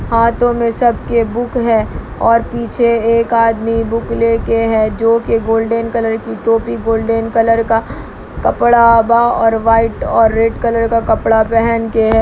हाथों मे सबके बुक है और पीछे एक आदमी बुक लेके है जो कि गोल्डन कलर की टोपी गोल्डन कलर का कपड़ा ब और वाइट और रेड कलर का कपड़ा पहन के है।